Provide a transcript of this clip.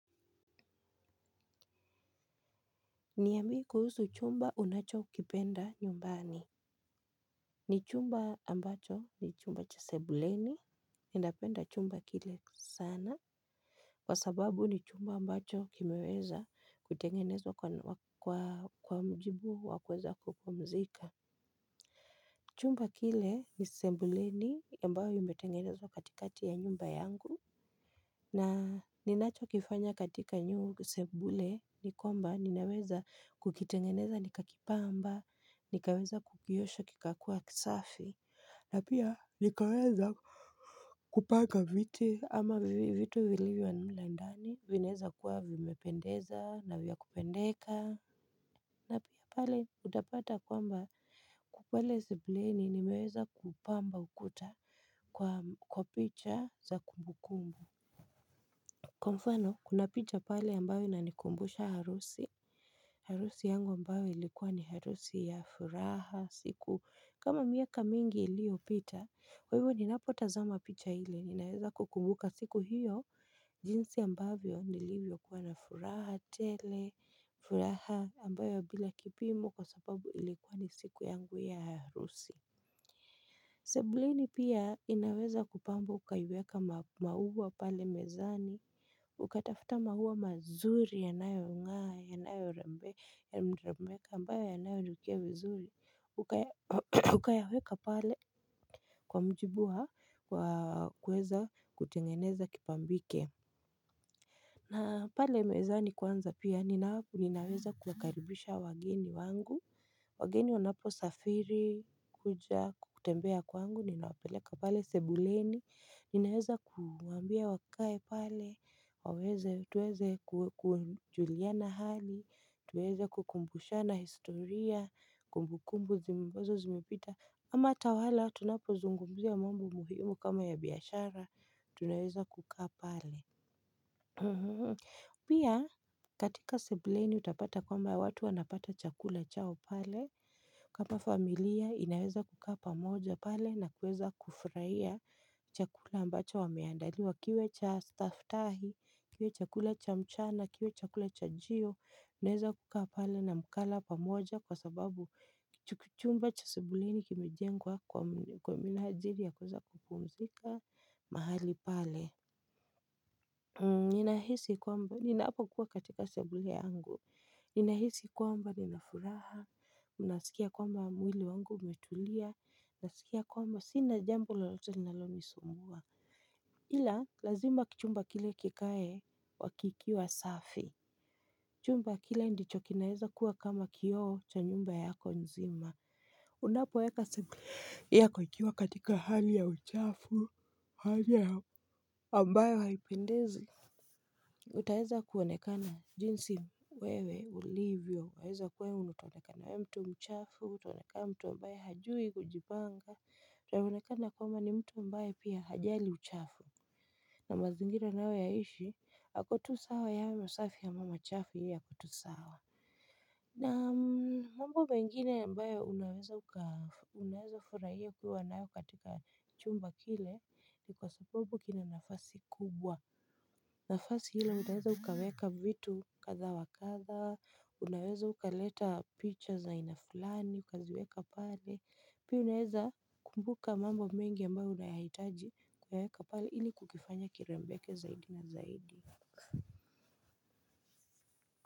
Niambie kuhusu chumba unachokipenda nyumbani. Ni chumba ambacho ni chumba cha sebuleni, ninapenda chumba kile sana. Kwa sababu ni chumba ambacho kimeweza kutengenezwa kwa mujibu wa kuweza kupumzika. Chumba kile ni sebuleni ambayo imetengenezwa katikati ya nyumba yangu. Na ninacho kifanya katika nyungu sebule nikwamba ninaweza kukitengeneza nikakipamba nikaweza kukiosho kikakua kisafi. Na pia nikaweza kupaka viti ama vitu vilivyo mle ndani vinaweza kuwa vimependeza na vya kupendeka. Na pale utapata kwamba pale sebuleni nimeweza kupamba ukuta kwa picha za kumbu kumbu. Kwa mfano, kuna picha pale ambayo inanikumbusha harusi. Harusi yangu ambayo ilikuwa ni harusi ya furaha siku kama miaka mingi iliopita, kwa hivyo ninapotazama picha ile, ninaweza kukumbuka siku hiyo. Jinsi ambavyo nilivyo kuwa na furaha tele. Furaha ambayo bila kipimo kwa sababu ilikuwa ni siku yangu ya harusi sebuleni pia inaweza kupambwa ukaiweka maua pale mezani ukatafuta maua mazuri yanayong'aa yanayorembeka ambayo yanayonukia vizuri ukayaweka pale kwa mujibu wa kuweza kutengeneza kipambike. Na pale mezani kwanza pia, ninaweza kuwakaribisha wageni wangu, wageni wanapo safiri kuja kutembea kwangu, ninawapeleka pale sebuleni, ninaweza kuwaambia wakae pale, tuweze kujuliana hali, tuweze kukumbushana historia, kumbukumbu ambazo zimipita, ama tawala tunapo zungumzia mambo muhimu kama ya biashara, tunaweza kukaa pale. Pia katika sebuleni utapata kwamba watu wanapata chakula chao pale. Kama familia inaweza kukaa pamoja pale na kuweza kufurahia. Chakula ambacho wameandaliwa kiwe cha staftahi kiwe chakula cha mchana kiwe chakula chajio naweza kukaa pale na mkala pamoja kwa sababu chumba cha sebuleni kimejengwa kwa minajili ya kuweza kupumzika mahali pale. Ninahisi kwamba ninapokuwa katika sebule yangu. Ninahisi kwamba ninafuraha. Unasikia kwamba mwili wangu umetulia nasikia kwamba sina jambo lolote linalonisumbua ila lazima chumba kile kikae kikiwa safi. Chumba kile ndicho kinaeza kuwa kama kioo cha nyumba yako nzima. Unapoweka sebule yako ikiwa katika hali ya uchafu hali ya ambayo haipendezi utaweza kuonekana jinsi wewe ulivyo unaweza kuwa utaonekana wewe mtu mchafuutaonekana mtu ambaye hajui kujipanga utaonekana kwamba ni mtu ambaye pia hajali uchafu na mazingira anayoyaishi ako tu sawa yawe masafi ama machafu yeye ako tu sawa. Na mambo mengine ambayo unaweza furahia ukiwa nayo katika chumba kile ni kwa sababu kina nafasi kubwa. Nafasi hilo unaweza ukaweka vitu kadha wa kadha, unaweza ukaleta picha za aina fulani, ukaziweka pale. Pia unaweza kumbuka mambo mengi ambayo unayahitaji kuweka pale ili kukifanya kirembeke zaidi na zaidi.